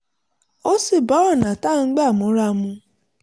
ó sì bá ọ̀nà tá a ń gbà múra mu